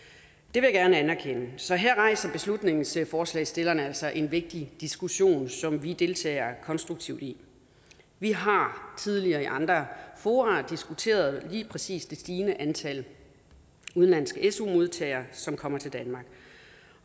vil jeg gerne anerkende så her rejser beslutningsforslagsstillerne altså en vigtig diskussion som vi deltager konstruktivt i vi har tidligere i andre fora diskuteret lige præcis det stigende antal udenlandske su modtagere som kommer til danmark